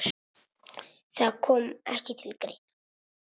Það kom ekki til greina.